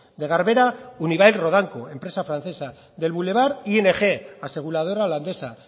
de garbera unibail rodamco empresa francesa del boulevard ing aseguradora holandesa